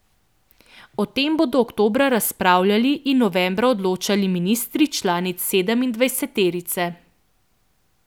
O tem bodo oktobra razpravljali in novembra odločali ministri članic sedemindvajseterice.